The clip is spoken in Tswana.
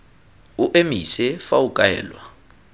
o emise fa o kaelwa